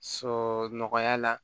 Sɔrɔ nɔgɔya la